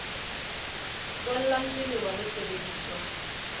tswellang ke lewa le sebediswang